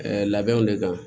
labɛnw de kan